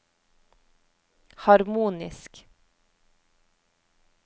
harmonisk